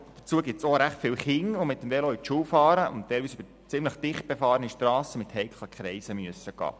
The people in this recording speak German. Weiter gibt es auch recht viele Kinder, die mit dem Velo auf teilweise sehr dicht befahrenen Strassen mit heiklen Kreiseln zur Schule fahren.